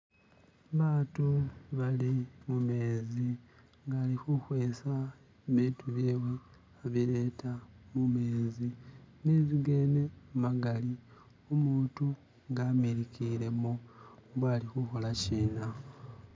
batu bali mumezi ngali huhwesa bitu byewe hubileta mumezi mezigene magali umutu ngamilikile mo mbo alihuhola shina